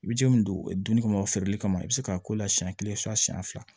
I bɛ ji min donni kama o feereli kama i bi se k'a k'o la siyɛn kelen siɲɛ fila